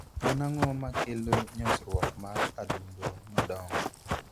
En ang'o makelo nyosruok mar adundo madongo?